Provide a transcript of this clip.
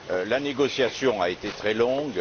La négociation a été très longue.